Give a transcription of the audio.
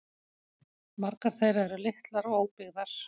Margar þeirra eru litlar og óbyggðar